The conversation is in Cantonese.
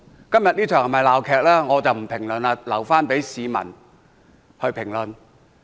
今天這場是否鬧劇，我不作評論，留待市民去評論。